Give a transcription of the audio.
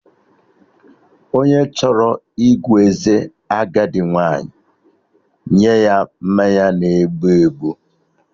Onye chọrọ ịgụ eze agadi nwaanyị nye ya mmanya na-ebu ebu